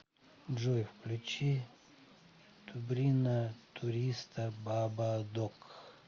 джой включи тубрина туриста ба ба док